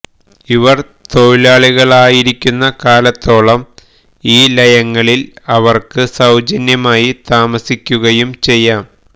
അവർ തൊഴിലാളികളായിരിക്കുന്ന കാലത്തോളം ഈ ലയങ്ങളിൽ അവർക്ക് സൌജന്യമായി താമസിക്കുകയും ചെയ്യാം